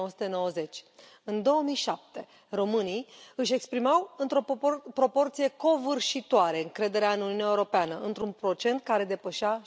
1990. În 2007 românii își exprimau într o proporție covârșitoare încrederea în Uniunea Europeană într un procent care depășea